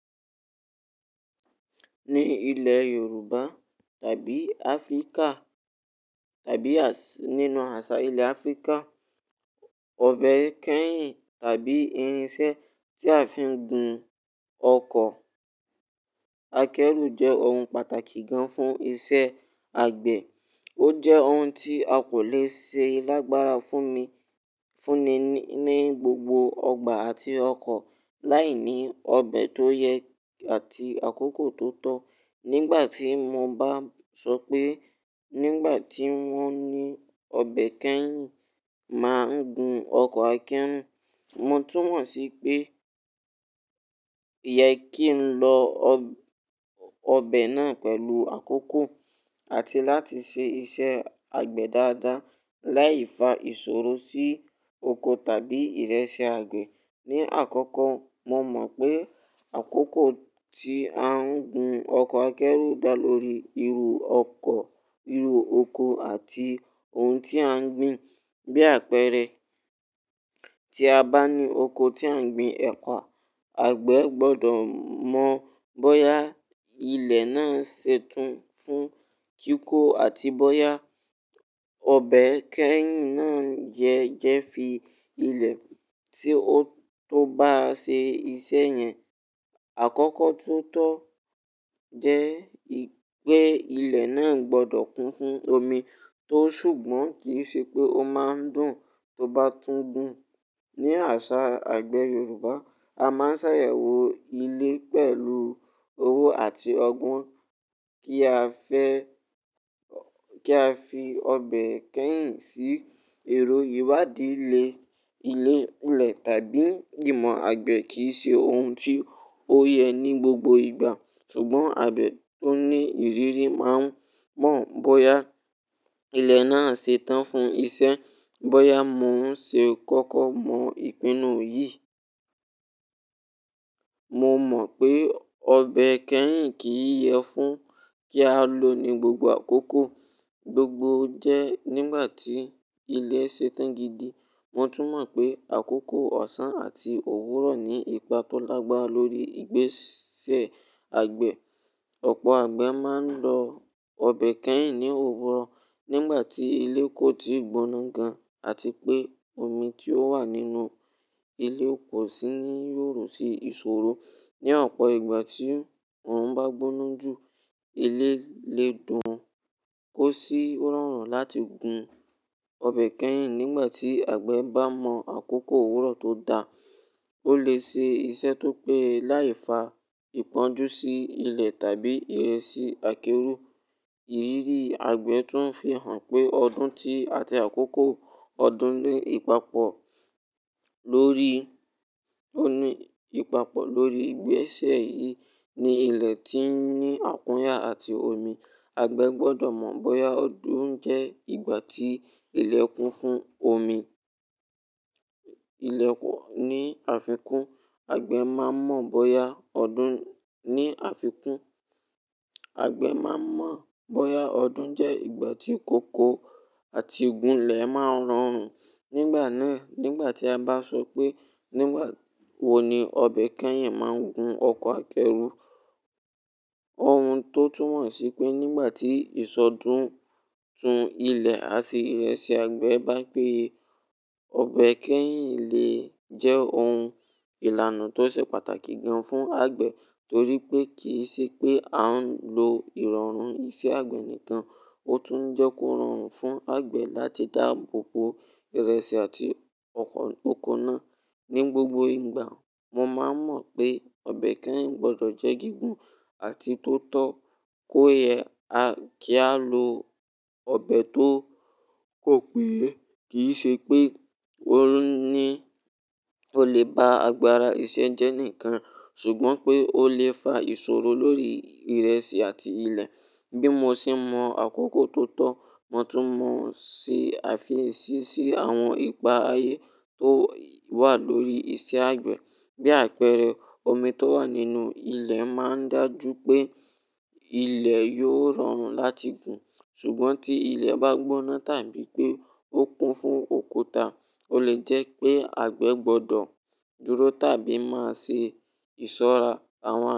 Ní ilẹ̀ Yorùbá tàbí Áfríkà tàbí nínú àṣà ilẹ̀ Áfríkà, ọbẹ̀ kẹ́yìn tàbí irinṣẹ́ tí a fi ń gun ọkọ̀ akẹ́rù jẹ́ ohun pàtàkì gan fún iṣẹ́ àgbẹ̀. Ó jẹ́ ohun tí a kò le ṣe lágbára fún mi, fúnni ní gbogbo ọgbà àti ọkọ̀ láìní ọbẹ̀ tó yẹ àti àkókò tó tọ́. Nígbà tí mo bá sọ pé nígbà tí wón ní ọbẹ̀ kẹ́yìn máa ń gun ọkọ̀ akẹ́rù, mo tún mọ̀ sí pé yẹ kí n lo ọbẹ̀ náà pẹ̀lú àkókò àti láti ṣe iṣẹ́ àgbẹ̀ dáadáa láìfa ìṣòro sí oko tàbí ìrẹsì àgbẹ̀. Ni àkọ́kọ́, mo mọ̀ pé àkókò tí a ń gun ọkọ̀ akẹ́rù dá lórí irú ọkọ̀, irú oko àti ohun tí à ń gbin. Bí àpẹẹrẹ, tí a bá ní oko tí à ń gbin ẹ̀pà, àgbẹ̀ gbọdọ̀ mọ̀ bóyá ilẹ̀ náà ń ṣe tun fún kíkó àti bóyá ọbẹ̀ kẹ́yìn náà yẹ jẹ́ fi ilẹ̀ tí ó tó bá ṣe iṣẹ́ yẹn. Àkọ́kọ́ tó tọ́ jẹ́ pé ilẹ̀ náà gbọdọ̀ kún fún omi tó ṣùgbọ́n kì í ṣe pé ó máa ń dùn tó bá tún gùn. Ni àṣà àgbẹ̀ Yorùbá, a máa ń ṣàyẹ̀wò ilé pẹ̀lú owó àti ọgbọ́n kí a fẹ́, kí a fi ọbẹ̀ kẹ́yìn sí èrò ìwádìí ilẹ̀ tàbí jìmọ̀ àgbẹ̀ kì í ṣe ohun tí ó yẹ ní gbogbo ìgbà. Ṣùgbọ́n, àgbẹ̀ tó ní ìrírí máa mọ̀ bóyá ilẹ̀ náà ṣe tán fún iṣẹ́, bóyá mò ń ṣe kókó mọ̀ ìpinnu yìí. Mo mọ̀ pé ọbẹ̀ kẹ́yìn kì í yẹ fún kí a lo ní gbogbo àkókò. Gbogbo jẹ́ nígbà tí ilẹ̀ ṣe tán gidi. Mo tún mọ̀ pé àkókò ọ̀ṣán àti òwúrọ̀ ní ipa tó lágbára lórí ìgbésẹ̀ àgbẹ̀. Ọ̀pọ̀ àgbẹ̀ máa ń lo ọbẹ̀ kẹ́yìn ní òwúrọ̀ nígbà tí ilẹ̀ kò ti gbóná gan àti pé omi tí ó wà nínú ilẹ̀ kò sì ní yóò rò sí ìṣòro. Ni ọ̀pọ̀ ìgbà tí òòrùn bá gbóná jù, ilé lè dùn kò sì rọrùn láti gun. Ọbẹ̀ kẹ́yìn nígbà tí àgbẹ̀ bá mọ àkókò òwúrọ̀ tó da, ó lè ṣe iṣẹ́ tó pé láìfa ìpọ́njú sí ilẹ̀ tàbí ìrẹsì akẹ́rù. Ìrírí àgbẹ̀ tún fi hàn pé ọdún tí àti àkókò ọdún ní ìpapọ̀ lórí, ó ní ìpapọ̀ lórí ìgbésẹ̀ yìí ní ilẹ̀ tí ń ní àkúnyà àti omi. Àgbẹ̀ gbọdọ̀ mọ̀ bóyá ọdún jẹ́ ìgbà tí ilẹ̀ kún fún omi. Ilẹ̀ ní àfikún àgbẹ̀ máa mọ̀ bóyá ọdún ní àfikún, àgbẹ̀ máa mọ̀ bóyá ọdún jẹ́ ìgbà tí ìkòkò àti ìgún ilẹ̀ máa rọrùn. Nígbà náà, nígbà tí a bá sọ pé nígbà wo ni ọbẹ̀ kẹ́yìn máa ń gun ọkọ̀ akẹ́rù, ohun tó tún hàn sí pé nígbà tí ìṣọdún tún ilẹ̀ àti ìrẹsì àgbẹ̀ bá péye, ọbẹ̀ kẹ́yìn lè jẹ́ ohun ìlànà tó ṣe pàtàkì gan fún àgbẹ̀ torí pé kì í ṣe pé a ń lo ìrọ̀rùn iṣẹ́ àgbẹ̀ nìkan, ó tún jẹ́ kó rọrùn fún àgbẹ̀ láti dáàbòbò ìrẹsì àti ọkọ, oko náà. Ni gbogbo ìgbà, mo máa ń mọ̀ pé ọbẹ̀ kẹ́yìn gbọdọ̀ jẹ́ gígùn àti tó tọ́ kó yẹ kí a lo ọbẹ̀ tó kò péye. Kì í ṣe pé ó ní, ó lè ba àgbàrá iṣẹ́ jẹ́ nìkan, ṣùgbọ́n pé ó lè fa ìṣòro lórí ìrẹsì àti ilẹ̀. Bí mo ṣe ń mọ̀ àkókò tó tọ́, mo tún mọ̀ sí àfisi sí àwọn ipa ayé tó wà lórí iṣẹ́ àgbẹ̀. Bí àpẹẹrẹ, omi tó wà nínú ilẹ̀ máa ń dájú pé ilẹ̀ yóò rọrùn láti gun. Ṣùgbọ́n tí ilẹ̀ bá gbóná tàbí pé ó kún fún òkúta, ó lè jẹ́ pé àgbẹ̀ gbọdọ̀ dúró tàbí máa ṣe ìṣọ́ra àwọn.